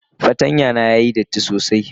fartanya na yayi datti sosai.